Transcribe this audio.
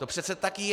To přece tak je.